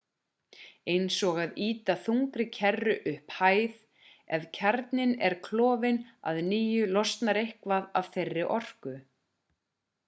eins og að ýta þungri kerru upp hæð ef kjarninn er klofinn að nýju losnar eitthvað af þeirri orku